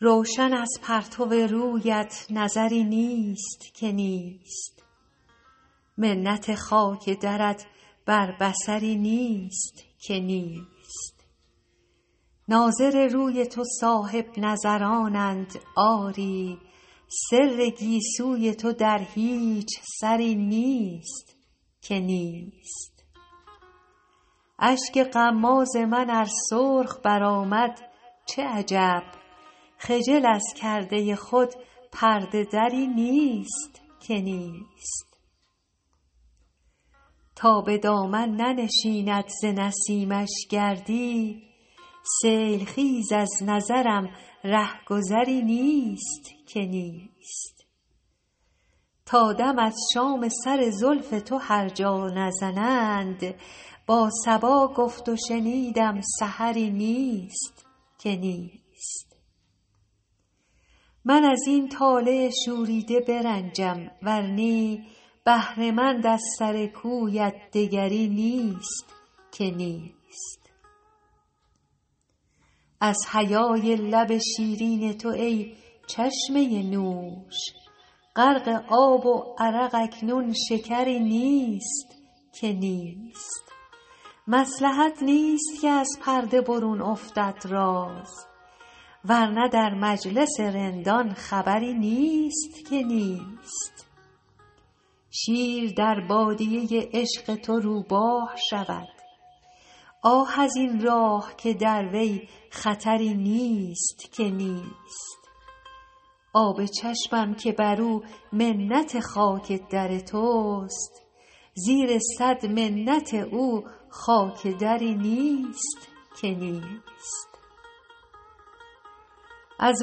روشن از پرتو رویت نظری نیست که نیست منت خاک درت بر بصری نیست که نیست ناظر روی تو صاحب نظرانند آری سر گیسوی تو در هیچ سری نیست که نیست اشک غماز من ار سرخ برآمد چه عجب خجل از کرده خود پرده دری نیست که نیست تا به دامن ننشیند ز نسیمش گردی سیل خیز از نظرم ره گذری نیست که نیست تا دم از شام سر زلف تو هر جا نزنند با صبا گفت و شنیدم سحری نیست که نیست من از این طالع شوریده برنجم ور نی بهره مند از سر کویت دگری نیست که نیست از حیای لب شیرین تو ای چشمه نوش غرق آب و عرق اکنون شکری نیست که نیست مصلحت نیست که از پرده برون افتد راز ور نه در مجلس رندان خبری نیست که نیست شیر در بادیه عشق تو روباه شود آه از این راه که در وی خطری نیست که نیست آب چشمم که بر او منت خاک در توست زیر صد منت او خاک دری نیست که نیست از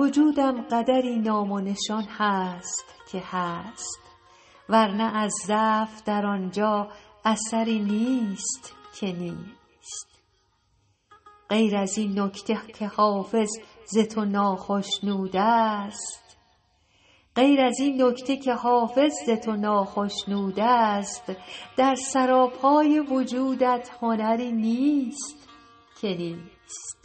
وجودم قدری نام و نشان هست که هست ور نه از ضعف در آن جا اثری نیست که نیست غیر از این نکته که حافظ ز تو ناخشنود است در سراپای وجودت هنری نیست که نیست